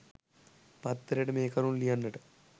පත්තරේට මේ කරුණු ලියන්නට